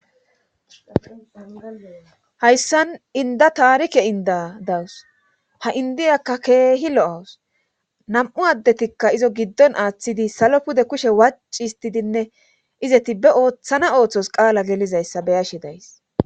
Hayssan inda taarike inda dawus ha indiyakka keehi lo7awus nam7u addetikka izo giddon aaththidi salo pude kushe waci histidinne izeti be ooththana ooththos qaala gelizayssa beyashe days